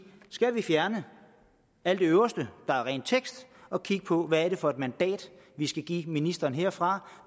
skal vi fjerne alt det øverste der er ren tekst og kigge på hvad det er for et mandat vi skal give ministeren herfra og